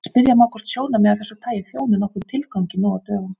Spyrja má hvort sjónarmið af þessu tagi þjóni nokkrum tilgangi nú á dögum.